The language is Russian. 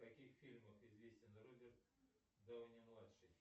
в каких фильмах известен роберт дауни младший